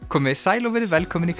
komiði sæl og verið velkomin í